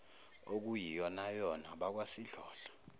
okuyiyonayona abakwa sidlodlo